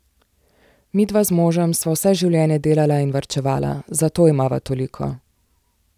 Midva z možem sva vse življenje delala in varčevala, zato imava toliko.